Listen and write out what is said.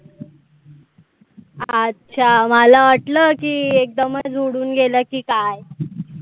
अच्छा मला वाटलं की एकदमच उडून गेला की काय?